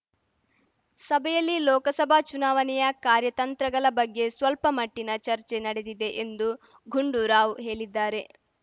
ಸಭೆಯಲ್ಲಿ ಲೋಕಸಭಾ ಚುನಾವಣೆಯ ಕಾರ್ಯತಂತ್ರಗಲ ಬಗ್ಗೆ ಸ್ವಲ್ಪಮಟ್ಟಿನ ಚರ್ಚೆ ನಡೆದಿದೆ ಎಂದು ಗುಂಡೂರಾವ್‌ ಹೇಲಿದ್ದಾರೆ